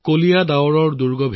ঘন ডাৱৰ ফালিবলৈ